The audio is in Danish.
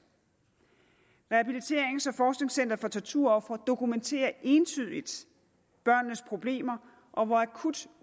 rehabiliterings og forskningscentret for torturofre dokumenterer entydigt børnenes problemer og hvor akut